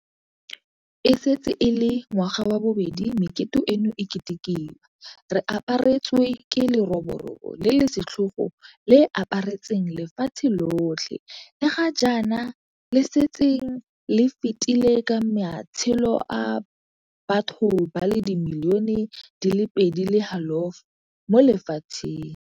E setse e le ngwaga wa bobedi mekete eno e ketekiwa re aparetswe ke leroborobo le le setlhogo le le aparetseng lefatshe lotlhe le ga jaana le setseng le fetile ka matshelo a batho ba le dimilione di le pedi le halofo mo lefatsheng.